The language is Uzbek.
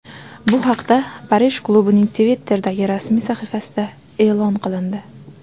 Bu haqda Parij klubining Twitter’dagi rasmiy sahifasida e’lon qilindi .